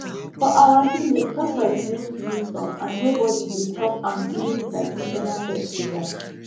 for our village tortoise mean wisdom and nobody dey chop am during traditional festival